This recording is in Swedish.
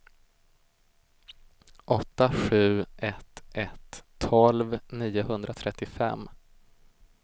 åtta sju ett ett tolv niohundratrettiofem